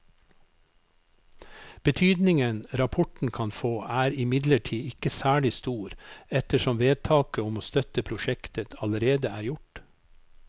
Betydningen rapporten kan få er imidlertid ikke særlig stor ettersom vedtaket om å støtte prosjektet allerede er gjort.